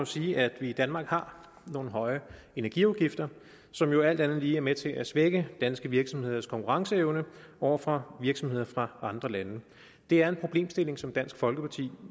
sige at vi i danmark har nogle høje energiafgifter som jo alt andet lige er med til at svække danske virksomheders konkurrenceevne over for virksomheder fra andre lande det er en problemstilling som dansk folkeparti